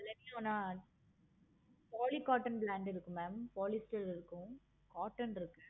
இல்லைங்களா poly cotton brand இருக்கு mam polyester இருக்கும். இருக்கு